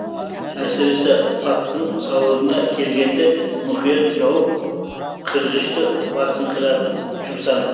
әсіресе аттың сауырына келгенде мұхият жауып қырғышты батыңқыратып жұмсады